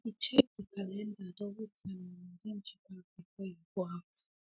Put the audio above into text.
he be check de calendar double time and arrange e bag before e go out